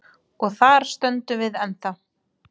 Og þar stöndum við ennþá.